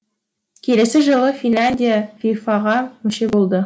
келесі жылы финляндия фифа ға мүше болды